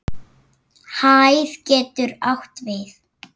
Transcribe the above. Hæð getur átt við